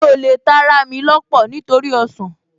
Mi ò lè ta ará mi lọ́pọ̀ nítorí ọsàn